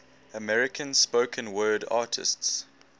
american spoken word artists